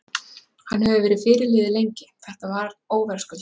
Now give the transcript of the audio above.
Hann hefur verið fyrirliði lengi, þetta var óverðskuldað.